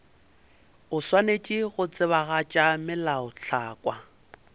o swanetše go tsebagatša melaotlhakwa